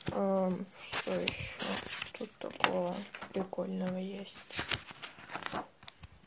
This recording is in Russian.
ээ что ещё тут такого прикольного есть